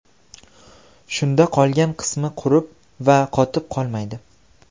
Shunda qolgan qismi qurib va qotib qolmaydi.